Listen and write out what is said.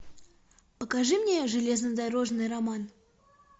покажи мне железнодорожный роман